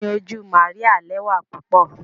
Ẹyin oju Maria lẹwa pupọ.